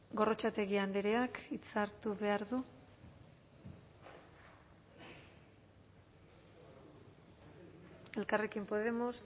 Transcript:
gorrotxategi andreak hitza hartu behar du elkarrekin podemos